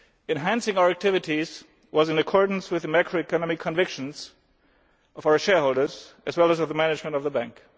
Enhancing our activities was in accordance with the macroeconomic convictions of our shareholders, as well as of the management of the Bank.